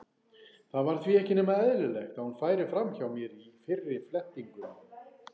Það var því ekki nema eðlilegt að hún færi fram hjá mér í fyrri flettingum.